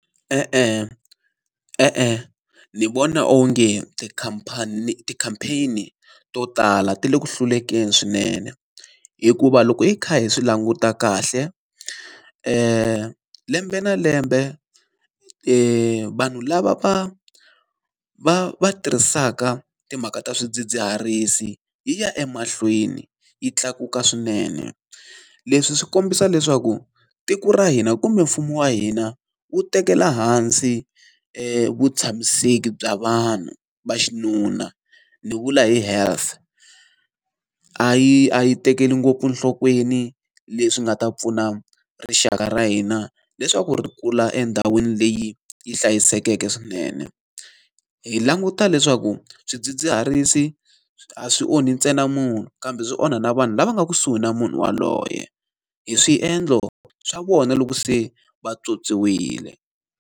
E-e, e-e ni vona onge ti-campaign to tala ti le ku hlulekeni swinene. Hikuva loko hi kha hi swi languta kahle lembe na lembe vanhu lava va va va tirhisaka timhaka ta swidzidziharisi hi ya emahlweni yi tlakuka swinene, leswi swi kombisa leswaku tiko ra hina kumbe mfumo wa hina wu tekela hansi vu tshamiseki bya vanhu va xinuna, ni vula health. A yi a yi tekeli ngopfu enhlokweni leswi nga ta pfuna rixaka ra hina leswaku ri kula endhawini leyi yi hlayisekeke swinene. Hi languta leswaku swidzidziharisi a swi onhi ntsena munhu, kambe swi onha na vanhu lava nga kusuhi na munhu yaloye hi swiendlo swa vona loko se vatswotswiwile.